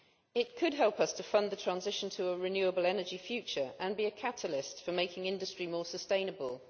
It could help us to fund the transition to a renewable energy future, and be a catalyst for making industry more sustainable.